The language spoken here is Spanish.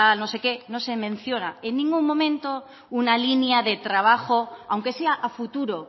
no se menciona en ningún momento una línea de trabajo aunque sea a futuro